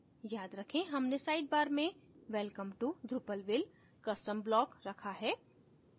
याद करें हमने sidebar में welcome to drupalville custom block रखा है